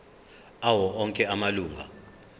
awo onke amalunga